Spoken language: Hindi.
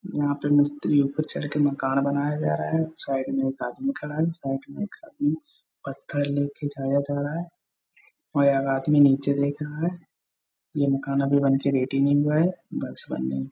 यहाँ पे मिस्त्री ऊपर चढ़ के मकान बनाए जा रहा है। साइड में एक आदमी खड़ा है। साइड में एक आदमी पत्थर ले के जाया जा रहा है और एक आदमी नीचे देख रहा है। ये मकान अभी बन के रेडी नहीं हुआ है। बस बनने --